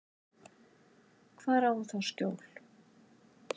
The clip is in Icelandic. Hvar á hún þá skjól?